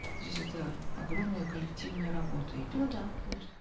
здесь это огромная коллективная работа идет ну да конечно